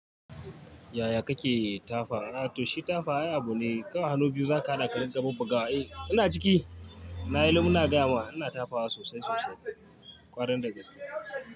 Yaya kake tafa? A to shi tafa ay abu ne, kawai hannu biyu za ka hada kadinga bubbuga wa. Eh ina ciki, na yi luf ina gaya ma, ina tafa sosai sosai kwarai da gaske.